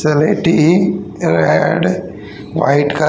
white --